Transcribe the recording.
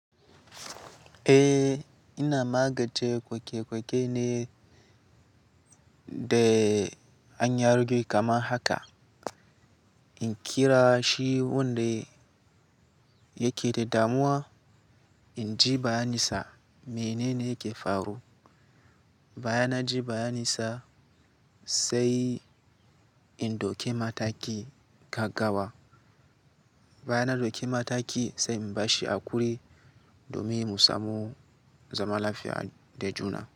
Eh, ina magance koke-koke ne da hanyar juyi kamar haka. In kira shi wanda yake da damuwa, in ji bayaninsa menene yake faru. Bayan na ji bayaninsa sai in ɗauke mataki ka gawa. Bayan na ɗauke mataki sai in bashi haƙuri domin mu samo zaman lafiya da juna.